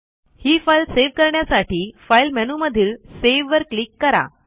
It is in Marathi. ही फाईल सेव्ह करण्यासाठी फाईल मेनूमधील सेव्हवर क्लिक करा